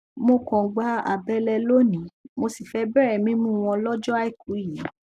mo kan gba àbẹlẹ lóní mo sì fẹẹ bẹrẹ mímú wọn lọjọ àìkú yìí